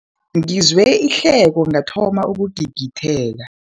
Ngizwe ihleko ngathoma ukugigitheka.